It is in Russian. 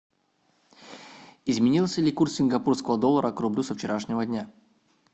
изменился ли курс сингапурского доллара к рублю со вчерашнего дня